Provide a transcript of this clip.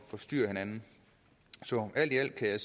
forstyrrer hinanden så alt i alt kan